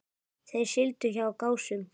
Þeir sigldu hjá Gásum.